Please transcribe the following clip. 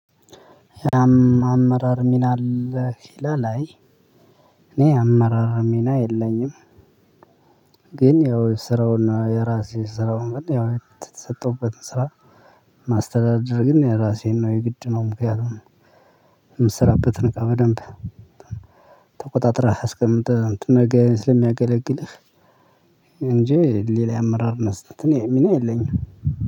አመራር ሚና አለህ አይ እኔ የአመራር ሚና የለኝም። ግን ያው ስራውና የራሴ ስራውን ያው የተሰጠሁበትን ስራ ማስተዳደር ግን የራሴን ነው የግድ ነው። ምክንያቱም የምትሰራበትን እቃ በደንብ ተቆጣጥረህ አስቀምጥህ ነገ ስለሚያገለግልህ። እንጂ ሌላ የአመራር ስትል እኔ ሚና የለኝም።